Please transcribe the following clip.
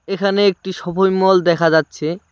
এখানে একটি shopping mall দেখা যাচ্ছে।